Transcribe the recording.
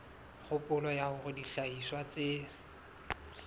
kgopolo ya hore dihlahiswa tse